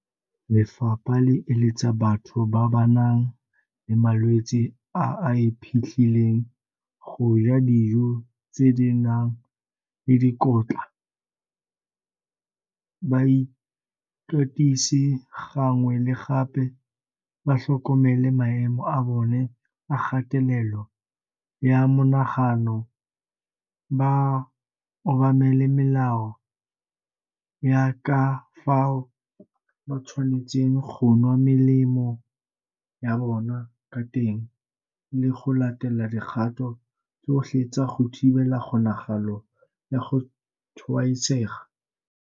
Lefapha le eletsa batho ba ba nang le malwetse a a iphitlhileng go ja dijo tse di nang le dikotla, ba ikatise gangwe le gape, ba tlhokomele maemo a bona a kgatelelo ya monagano, ba obamele melao ya ka fao ba tshwanetseng go nwa melemo ya bona ka teng le go latela dikgato tsotlhe tsa go thibela kgonagalo ya go tshwaetsega.